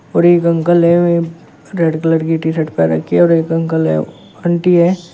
और एक अंकल हैं वे रेड कलर की टीशर्ट पहन रखी है और एक अंकल है आंटी है।